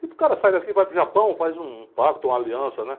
Tipo, o cara sai daqui, vai para o Japão, faz um pacto, uma aliança, né?